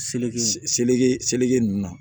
Seleke seleke seleke ninnu ma